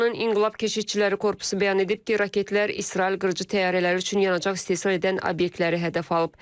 İranın İnqilab Keşikçiləri Korpusu bəyan edib ki, raketlər İsrail qırıcı təyyarələri üçün yanacaq istehsal edən obyektləri hədəf alıb.